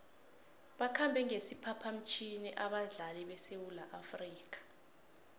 bakhambe ngesiphaphamtjhini abadlali besewula afrika